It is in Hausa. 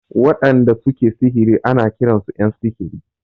Waɗanda su ke sihiri ana kiran su ƴan sihiri.